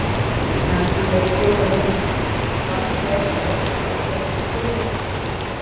Nansý hlaut fjóra vinninga, vann þrjár skákir og gerði tvö jafntefli.